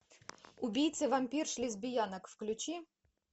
убийцы вампирш лесбиянок включи